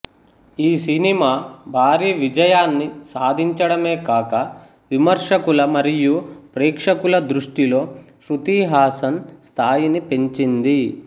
ఈ సినిమా భారీ విజయాన్ని సాధించడమే కాక విమర్శకుల మరియూ ప్రేక్షకుల దృష్టిలో శ్రుతి హాసన్ స్థాయిని పెంచింది